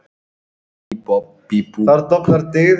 Diðrik, hversu margir dagar fram að næsta fríi?